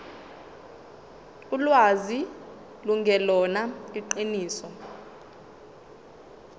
ulwazi lungelona iqiniso